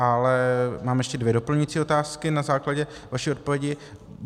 Ale mám ještě dvě doplňující otázky na základě vaší odpovědi.